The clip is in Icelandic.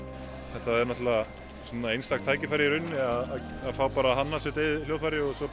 þetta er náttúrulega einstakt tækifæri að fá að hanna sitt eigið hljóðfæri og svo